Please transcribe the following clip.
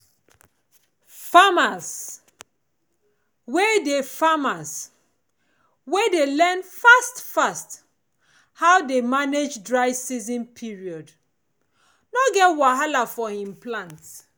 farmers wey dey farmers wey dey learn fast fast how dey manage dry season period no go get plenti wahala for him plant